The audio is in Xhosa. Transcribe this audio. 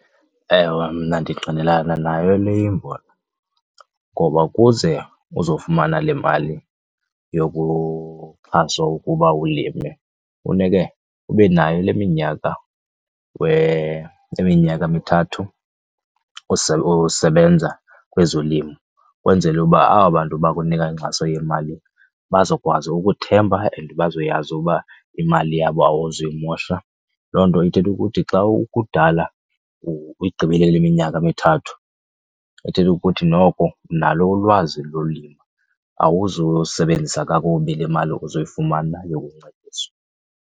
Ewe, mna ndingqilana nayo le imbono ngoba ukuze uzofumana le mali yokuxhaswa ukuba ulime funeke ube nayo le minyaka , le minyaka mithathu usebenza kwezolimo ukwenzele uba aba bantu bakunika inkxaso yemali bazokwazi ukuthemba and bazoyazi uba imali yabo awuzuyimosha. Loo nto ithetha ukuthi xa ukudala uyigqibile le minyaka mithathu, ithetha ukuthi noko unalo ulwazi lolima awuzuyisebenzisa kakubi le mali uzoyifumana yokuncediswa.